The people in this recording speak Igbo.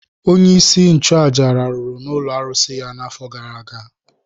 Onyeisi nchụaja rahụrụ n’ụlọ arụsị ya n’afọ gara aga.